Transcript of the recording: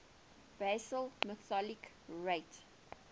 basal metabolic rate